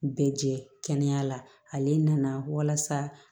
Bɛɛ jɛ kɛnɛya la ale nana walasa